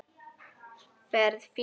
Ferð fínt í það.